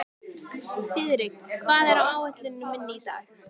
Þiðrik, hvað er á áætluninni minni í dag?